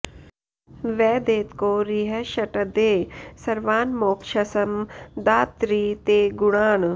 व देत्को रिः ष्टदे सर्वान् मो क्षसं दा त्रि ते गुणान्